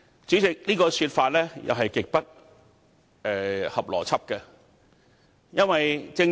主席，這個說法也是極不合邏輯的。